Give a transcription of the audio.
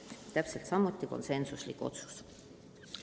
Kõik otsused olid konsensuslikud.